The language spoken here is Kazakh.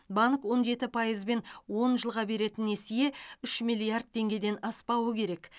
банк он жеті пайызбен он жылға беретін несие үш миллиард теңгеден аспауы керек